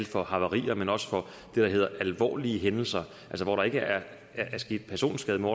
for havarier men også for det der hedder alvorlige hændelser hvor der ikke er sket personskade men